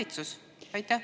Valitsus?